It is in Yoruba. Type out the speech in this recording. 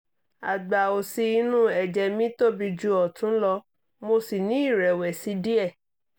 àgbá òsì inú ẹ̀jẹ̀ mi tóbi ju ọ̀tún lọ mo sì ní ìrẹ̀wẹ̀sì díẹ̀